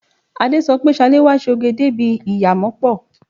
Adé sọ pé Ṣaléwá ṣe òge débi ìyámọ̀pó.